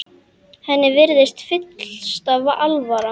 Henni virðist fyllsta alvara.